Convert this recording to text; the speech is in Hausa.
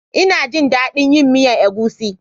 Ina jin dadin yin miyan egusi.